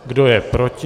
Kdo je proti?